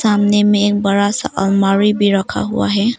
सामने में एक बड़ा सा अलमारी भी रखा हुआ है।